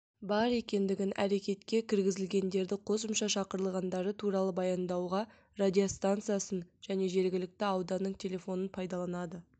бар екендігін әрекетке кіргізілгендерді қосымша шақырылғандары туралы баяндауға радиостанциясын және жергілікті ауданның телефонын пайдаланады